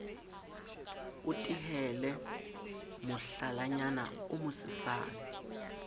o tehele mohlalanyana o mosesane